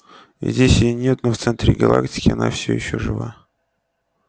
здесь её нет но в центре галактики она все ещё жива